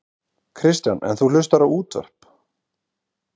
Kristján: En þú hlustar á útvarp?